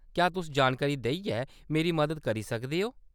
क्या तुस जानकारी देइयै मेरी मदद करी सकदे ओ ?